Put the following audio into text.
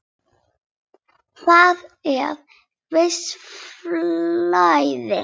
Þarna er visst flæði.